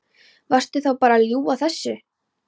Varstu þá bara að ljúga þessu?